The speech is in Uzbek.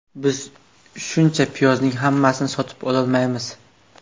Biz shuncha piyozning hammasini sotib ololmaymiz.